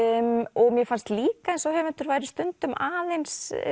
og mér fannst líka eins og höfundur væri stundum aðeins